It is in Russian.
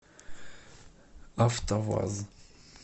автоваз